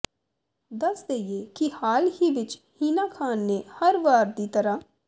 ਦੱਸ ਦੇਈਏ ਕਿ ਹਾਲ ਹੀ ਵਿੱਚ ਹੀਨਾ ਖਾਨ ਨੇ ਹਰ ਵਾਰ ਦੀ ਤਰ੍ਹਾਂ